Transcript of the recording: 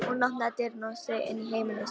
Hún opnaði dyrnar og steig inn á heimili sitt.